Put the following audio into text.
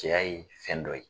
Cɛya ye fɛn dɔ ye.